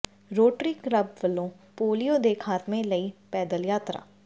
rotary Club ਵੱਲੋਂ polio ਦੇ ਖ਼ਾਤਮੇ ਲਈ ਪੈਦਲ ਯਾਤਰਾ